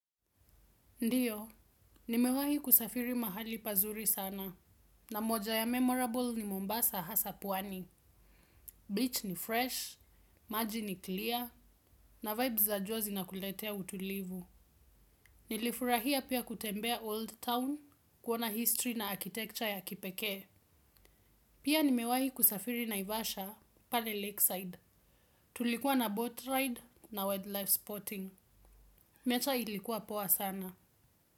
Ndiyo, nimewahi kusafiri mahali pazuri sana, na moja ya memorable ni Mombasa hasa pwani. Beach ni fresh, maji ni clear, na vibes za jua zinakuletea utulivu. Nilifurahia pia kutembea old town kuona history na architecture ya kipekee. Pia nimewahi kusafiri naivasha pale lakeside. Tulikuwa na boat ride na wildlife spotting. Mecha ilikuwa poa sana.